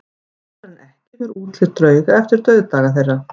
Oftar en ekki fer útlit drauga eftir dauðdaga þeirra.